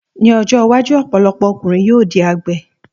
Ní ọjọ́ iwájú, ọ̀pọ̀lọpọ̀ ọkùnrin yóò di àgbẹ̀.